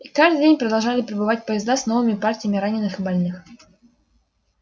и каждый день продолжали прибывать поезда с новыми партиями раненых и больных